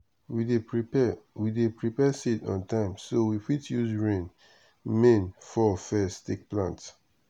we dey prepare we dey prepare seeds on time so we fit use rain main fall first take plant.